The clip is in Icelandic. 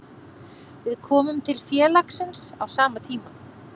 Við komum til félagsins á sama tíma.